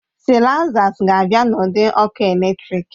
Sịlaizas ga-abịa n'ụdị ọkụ eletrik